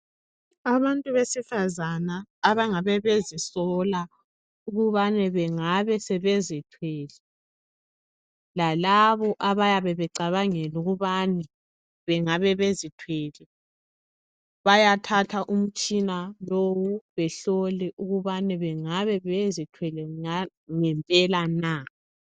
Abantu besifazana abangabe bezisola ukubana bengabe sebezithwele lalabo abayabe becabangela ukubana bengabe bezithwele bayathatha umtshina lowu behlole ukubana bengabe bezithwele ngempela na.